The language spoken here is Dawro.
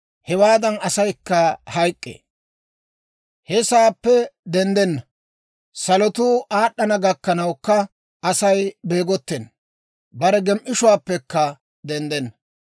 hewaadan asaykka hayk'k'ee; he sa'aappe denddenna. Salotuu aad'd'ana gakkanawukka Asay beegottena; bare gem"ishshuwaappekka denddenna.